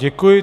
Děkuji.